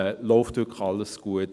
Läuft wirklich alles gut?